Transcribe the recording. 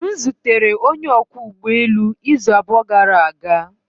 M zutere onye ọkwọ ụgbọelu izu abụọ gara aga